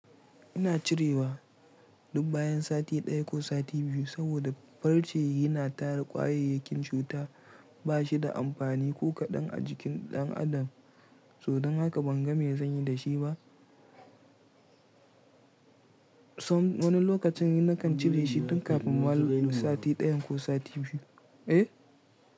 Ina cirewa duk bayan sati ɗaya ko sati biyu saboda farce yi na tara kwayoyi kin cuta ba shi da amfani ko kaɗan a jikin ɗan adam. So, dan haka ban ga me zan yi da shi ba. Wani lokacin ni na kan cire shi tun kafin ma sati ɗayan ko sati biyu. Eh.